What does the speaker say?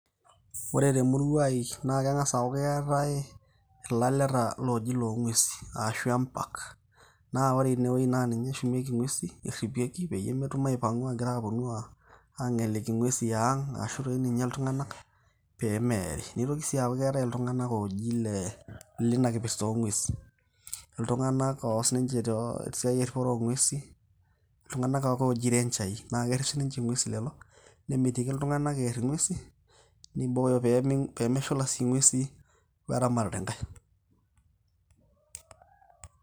Ore temurua ai, na keng'asa aku keetae ilaleta loji lo ng'uesin. Ashu empaak. Na ore inewueji na ninye eshumieki ng'uesin, erripieki peyie metum aipang'u agira aponu ang'eliki ng'uesin eang'. Arashu toi jinye iltung'anak pemeeri. Nitoki si aku keetae iltung'anak oji le linakipirta o ng'uesin. Iltung'anak oas ninche tesiai erripoto o ng'uesin, iltung'anak ake ooji renjai. Na kerrip sinche ng'uesin lelo tung'anak, nemitiki iltung'anak ear ing'uesin, nibooyo pemeshula si ng'uesin weramatare nkae.